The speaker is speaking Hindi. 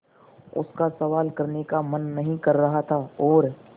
उसका सवाल करने का मन नहीं कर रहा था और